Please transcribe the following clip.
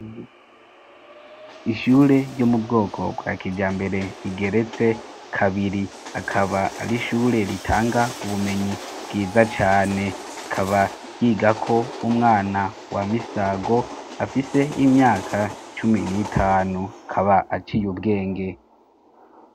ishure ryo mu bwoko bwa kijambere igeretse kabiri akaba ari ishure ritanga ubumenyi bwiza cane ikaba yiga ko umwana wa misago afise imyaka cumi n'itanu kaba aciye ubwenge